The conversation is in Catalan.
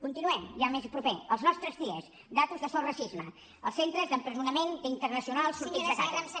continuem ja més proper als nostres dies dades de sos racisme els centres d’empresonament d’internacionals sortits de casa